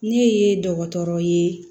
Ne ye dɔgɔtɔrɔ ye